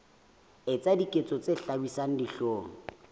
etsa diketso tse hlabisang dihlong